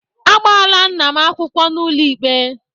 Agbaala nna m akwụkwọ n'ụlọ ikpe.